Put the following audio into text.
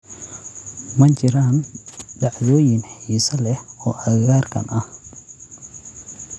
ma jiraan dhacdooyin xiiso leh oo agagaarkan ah